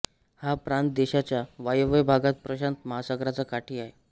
हा प्रांत देशाच्या वायव्य भागात प्रशांत महासागराच्या काठी आहे